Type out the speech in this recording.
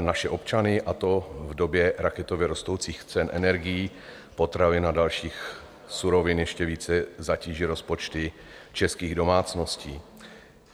naše občany, a to v době raketově rostoucích cen energií, potravin a dalších surovin, ještě více zatíží rozpočty českých domácností.